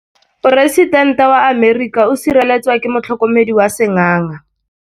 Poresitêntê wa Amerika o sireletswa ke motlhokomedi wa sengaga.